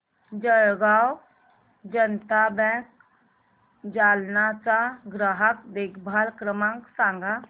Jalgaon Janata bank Jalna चा ग्राहक देखभाल क्रमांक सांग